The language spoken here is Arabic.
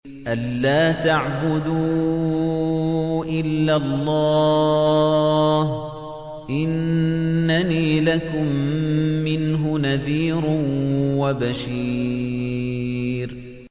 أَلَّا تَعْبُدُوا إِلَّا اللَّهَ ۚ إِنَّنِي لَكُم مِّنْهُ نَذِيرٌ وَبَشِيرٌ